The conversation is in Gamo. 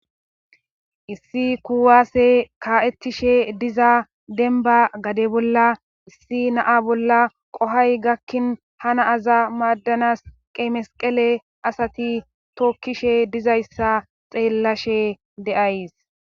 issi kuwaase ka7ettishe diza denba gade bolla issi naa bolla qohay gakkin ha na aza maaddanas qeemesqele asati tokkishe dizayssa xeellashe de'ays